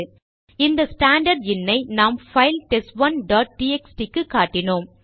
அந்த standard in ஐ நாம் பைல் டெஸ்ட் 1டாட் டிஎக்ஸ்டி க்கு காட்டினோம்